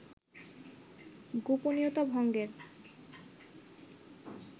গোপনীয়তা ভঙ্গের